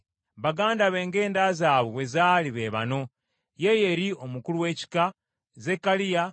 Baganda be ng’enda zaabwe bwe zaali be bano: Yeyeri omukulu w’ekika, Zekkaliya,